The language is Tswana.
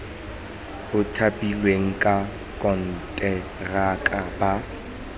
ba thapilweng ka konteraka ba